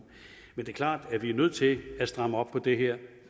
men det er klart at vi er nødt til at stramme op på det her